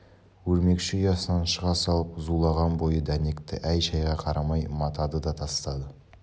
өрмекші ұясынан шыға салып зулаған бойы дәнекті әй-шайға қарамай матады да тастады